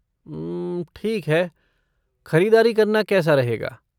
उम्म, ठीक है, ख़रीदारी करना कैसा रहेगा?